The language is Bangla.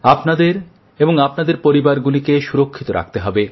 আপনাদের এবং আপনাদের পরিবারগুলিকে সুরক্ষিত রাখতে হবে